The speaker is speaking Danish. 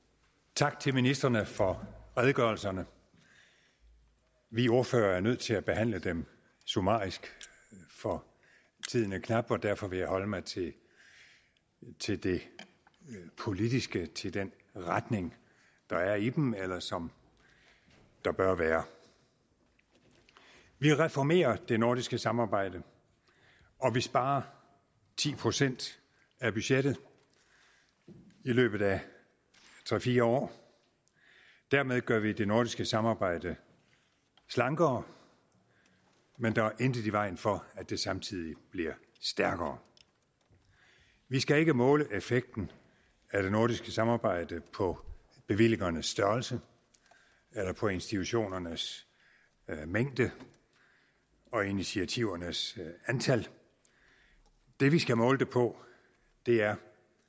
tak til ministrene for redegørelserne vi ordførere er nødt til at behandle dem summarisk for tiden er knap og derfor vil jeg holde mig til til det politiske til den retning der er i dem eller som der bør være vi reformerer det nordiske samarbejde og vi sparer ti procent af budgettet i løbet af tre fire år dermed gør vi det nordiske samarbejde slankere men der er intet i vejen for at det samtidig bliver stærkere vi skal ikke måle effekten af det nordiske samarbejde på bevillingernes størrelse eller på institutionernes mængde og initiativernes antal det vi skal måle det på er